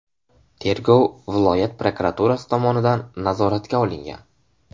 Tergov viloyat prokuraturasi tomonidan nazoratga olingan.